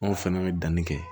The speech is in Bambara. N'o fana bɛ danni kɛ